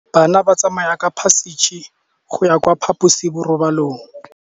Bana ba tsamaya ka phašitshe go ya kwa phaposiborobalong.